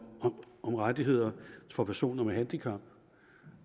rettigheder for personer med handicap